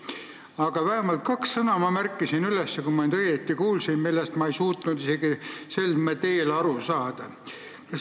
Aga ma märkisin üles, kui ma nüüd õigesti kuulsin, vähemalt kaks sõna, millest ma ei suutnud isegi sel teel aru saada.